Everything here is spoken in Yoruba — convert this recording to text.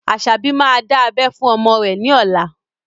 Asabi máa dá abẹ́ fún ọmọ rẹ ní ọ̀la